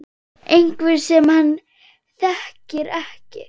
Einhver sem hann þekkir ekki.